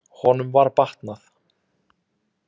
Honum var batnað.